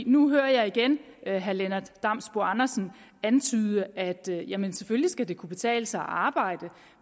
nu hører jeg igen herre lennart damsbo andersen antyde at det selvfølgelig skal kunne betale sig at arbejde